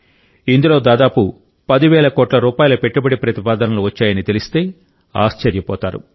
ఇందులో దాదాపు పదివేల కోట్ల రూపాయల పెట్టుబడి ప్రతిపాదనలు వచ్చాయని తెలిస్తే ఆశ్చర్యపోతారు